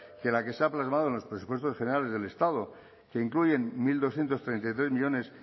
que la que se ha plasmado en los presupuestos generales del estado que incluyen mil doscientos treinta y tres millónes